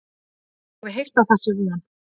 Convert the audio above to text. Ég hef heyrt að það sé vont